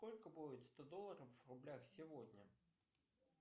сколько будет сто долларов в рублях сегодня